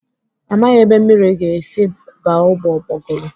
Amaghị ebe mmiri ga-esi aba ooo ụgbọgụrụ.